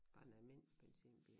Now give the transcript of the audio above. Bare en almindelig benzinbil